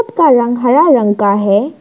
का रंग हरा रंग का है।